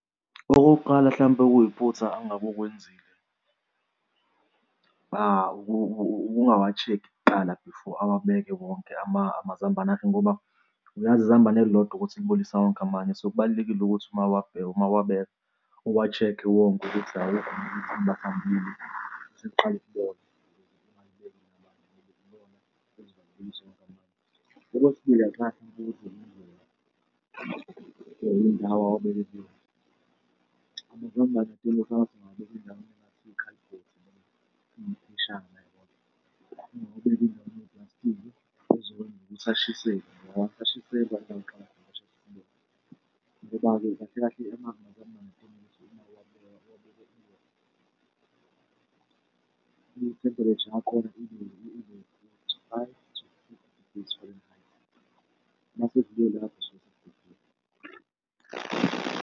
Okokuqala hlampe okuyiphutha angabe ukwenzile ukungawa-check-i kuqala before awabeke wonke amazambane akhe ngoba uyazi izambane elilodwa ukuthi liwabolisa wonke amanye. So, kubalulekile ukuthi mawuwabheka, mawuwabeka uwa-check-e wonke ukuthi awukho yini angathambile aseqale ukubola ukuze ungawabeki namanye athambile . Okwesibili, indawo awabeke kuyona amazambane engathi ungawabeka endaweni engathi iwukhalibhithi noma eyipheshana yabona? Ngoba uma ewabeke endaweni ewupulastiki azokwenza ukuthi ashiselwe ngoba ashiselwa ngoba-ke kahle kahle amazambane afuna ukuthi uma uwabeka i-temperature yakhona .